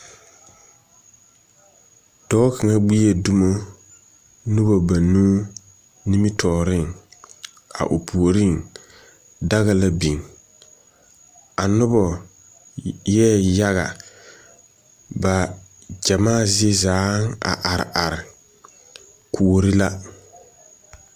Dɔɔ kaŋa gbie dumo noba banuu nimitɔɔreŋ. A o puoriŋ, daga la biŋ. A noba eɛ yaga. Ba gyamaa zie zaaŋ a are are. Kuori la.